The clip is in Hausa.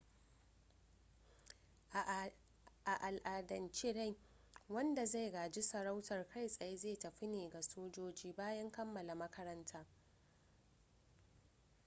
a al'adance dai wanda zai gaji sarautar kai tsaye zai tafi ne ga sojoji bayan kammala makaranta